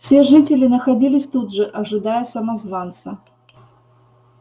все жители находились тут же ожидая самозванца